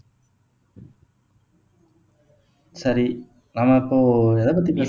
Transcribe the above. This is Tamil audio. சரி நாம இப்போ எதைப் பத்தி பே